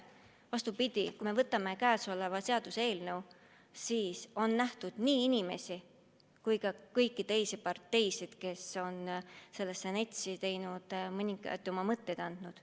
Vastupidi, kui me võtame selle seaduseelnõu, siis on siin nähtud nii inimesi kui ka kõiki teisi parteisid, kes on sellesse NETS-i mõningaid oma mõtteid andnud.